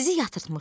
Sizi yatırtmışdım.